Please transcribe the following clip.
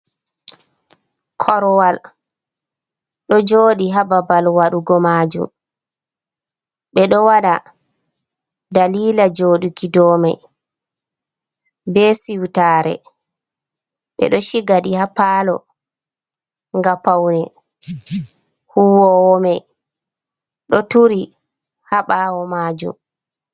Korwal do joɗi hababal waɗugo majum, Ɓe ɗo wada dalila joɗuki domai, be siwtare, ɓe do chigaɗi hapalo gappaune, huwowo mai ɗo turi ha ɓawo majum.